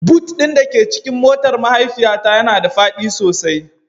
Boot ɗin da ke cikin motar mahaifiyata yana da faɗi sosai